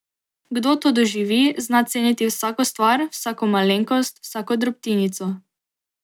Kdo to doživi, zna ceniti vsako stvar, vsako malenkost, vsako drobtinico.